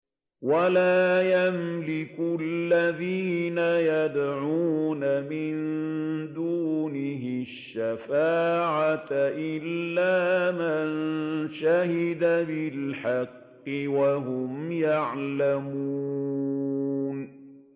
وَلَا يَمْلِكُ الَّذِينَ يَدْعُونَ مِن دُونِهِ الشَّفَاعَةَ إِلَّا مَن شَهِدَ بِالْحَقِّ وَهُمْ يَعْلَمُونَ